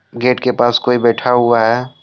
Gate के पास कोई बैठा हुआ है।